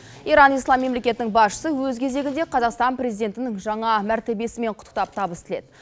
иран ислам мемлекетінің басшысы өз кезегінде қазақстан президентінің жаңа мәртебесімен құттықтап табыс тіледі